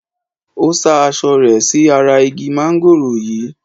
Ó sá aṣọ rẹ̀ sí ara igi mángòrò yìí.